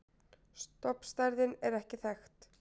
Stofnstærðin er ekki þekkt.